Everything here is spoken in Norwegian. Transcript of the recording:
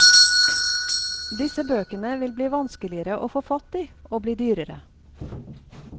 Disse bøkene vil bli vanskeligere å få fatt i og bli dyrere.